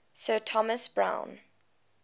sir thomas browne